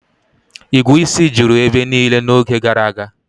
Igwu isi juru ebe niile n'oge gara aga